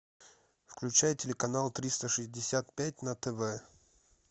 включай телеканал триста шестьдесят пять на тв